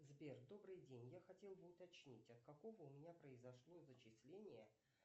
сбер добрый день я хотела бы уточнить а какого у меня произошло зачисление